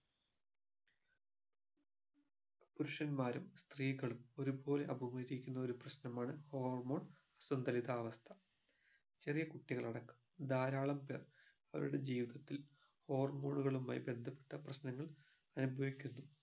പുരുഷന്മാരും സ്ത്രീകളും ഒരുപോലെ അപമരിക്കുന്ന ഒരു പ്രശ്നമാണ് hormone സന്തുലിതാവസ്ഥ ചെറിയ കുട്ടികളടക്കം ധാരാളം പേർ അവരുടെ ജീവിതത്തിൽ hormone ഉകളുമായി ബന്ധപ്പെട്ട പ്രശ്നങ്ങൾ അനുഭവിക്കുന്നു